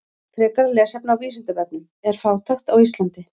Frekara lesefni á Vísindavefnum: Er fátækt á Íslandi?